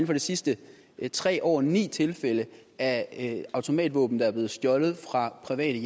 for de sidste tre år ni tilfælde af automatvåben der er blevet stjålet fra private